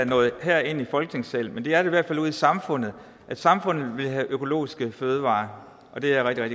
nået herind i folketingssalen men det er i hvert fald ude i samfundet samfundet vil have økologiske fødevarer og det er jeg